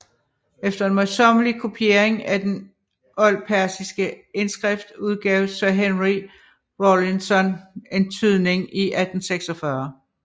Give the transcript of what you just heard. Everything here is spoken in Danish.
Efter en møjsommelig kopiering af den oldpersiske indskrift udgav Sir Henry Rawlinson en tydning i 1846